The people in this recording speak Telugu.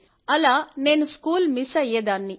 అలా నేనూ స్కూల్ మిస్ అయ్యేదాన్ని